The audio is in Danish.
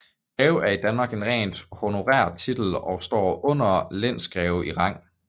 Greve er i Danmark en rent honorær titel og står under lensgreve i rang